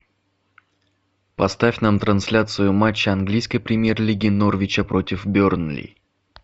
поставь нам трансляцию матча английской премьер лиги норвича против бернли